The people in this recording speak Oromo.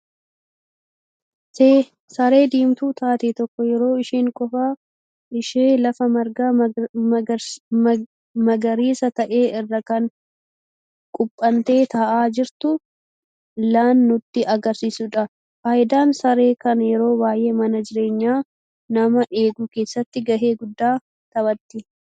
Saree diimtuu taatee tokko yeroo isheen qofa ishee lafa marga magariisa ta'e irra kan quphantee taa'aa jirtu lan nutti agarsiisudha. Faayidaan saree kana yeroo baay'ee Mana jireenya nama eeguu keessatti ga'ee gudda taphatti.